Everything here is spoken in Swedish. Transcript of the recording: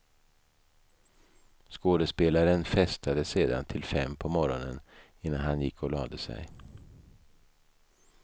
Skådespelaren festade sedan till fem på morgonen innan han gick och lade sig.